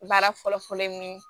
Baara fɔlɔ fɔlɔ ye min ye